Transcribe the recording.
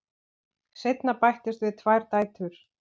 Seinna bættust við tvær dætur.